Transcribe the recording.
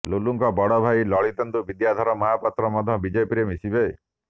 ଲୁଲୁଙ୍କ ବଡ ଭାଇ ଲଳିତେନ୍ଦୁ ବିଦ୍ୟାଧର ମହାପାତ୍ର ମଧ୍ୟ ବିଜେପିରେ ମିଶିବେ